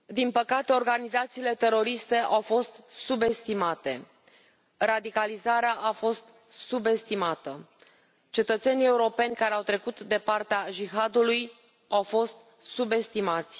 Domnule președinte, din păcate organizațiile teroriste au fost subestimate, radicalizarea a fost subestimată. Cetățenii europeni care au trecut de partea Jihadului au fost subestimați.